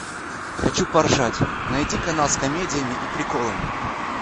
хочу поржать найди канал с комедиями и приколами